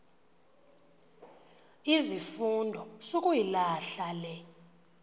izifundo sukuyilahla le